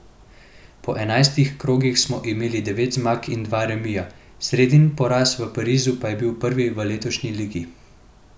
Po enajstih krogih smo imeli devet zmag in dva remija, sredin poraz v Parizu pa je bil prvi v letošnji ligi.